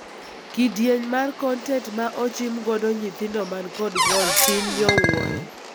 Kidieny mara kontent ma ochim godo nyithindo man kod ng'ol tin nyowuoyo.